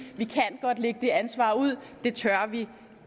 at det ansvar ud det tør vi